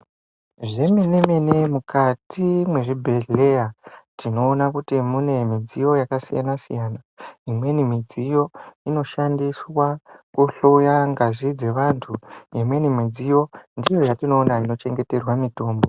Zvemenemene mukati mwezvibhehleya tinoona kuti mune midziyo yakasiyanasiyana imweni midziyo inoshandiswa kuhloya ngazi dzeantu, imweni midziyo ndiyo yatino ona inochengeterwe mutombo.